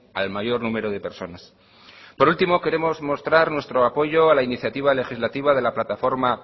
al mayor número de personas por último queremos mostrar nuestro apoyo a la iniciativa legislativa de la plataforma